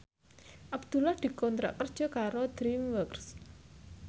Abdullah dikontrak kerja karo DreamWorks